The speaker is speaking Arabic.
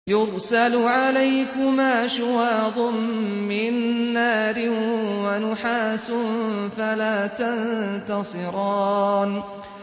يُرْسَلُ عَلَيْكُمَا شُوَاظٌ مِّن نَّارٍ وَنُحَاسٌ فَلَا تَنتَصِرَانِ